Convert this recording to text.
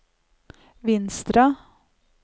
Vinstra